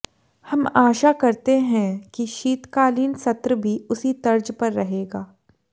हम आशा करते हैं कि शीतकालीन सत्र भी उसी तर्ज पर रहेगा